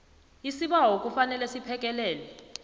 isibawo kufanele siphekelwe